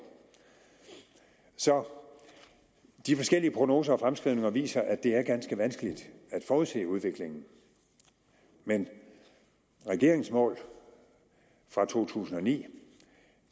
så de forskellige prognoser og fremskrivninger viser at det er ganske vanskeligt at forudse udviklingen men regeringens mål fra to tusind og ni